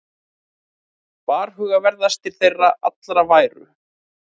Varhugaverðastir þeirra allra væru